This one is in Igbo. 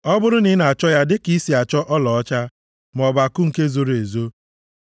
ọ bụrụ na ị na-achọ ya dịka i si achọ ọlaọcha maọbụ akụ nke zoro ezo,